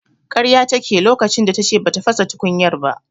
Karya take yi lokacin da tace bata fasa tukunyar ba.